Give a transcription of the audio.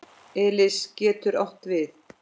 Elis getur átt við